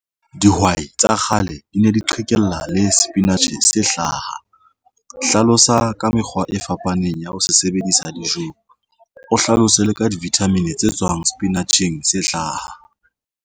Dihwai tsa kgale di ne di qhekella le sepinatjhe se hlaha. Hlalosa ka mekgwa e fapaneng ya ho se sebedisa dijong o hlalose le ka di-vitamin tse tswang sepinatjheng tse hlaha.